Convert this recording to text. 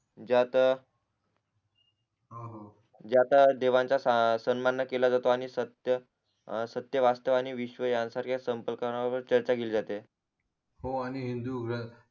ज्यात हो हो ज्यात देवांचा सण सन्मान न केला जातो आणि सत्य सत्य वास्तव आणि विश्व यान सारख्या संपकलना न वर चर्चा केली जाते हो आणि हिंदू